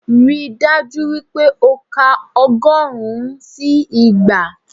Ríi dájú wípé o ka ọgọ́rùn-ún sí igba